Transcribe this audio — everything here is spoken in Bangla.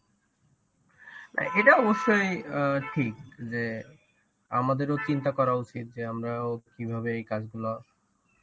এটা অবশ্যই অ্যাঁ ঠিক যে আমাদেরও চিন্তা করা উচিত যে আমরাও কিভাবে এই কাজগুলা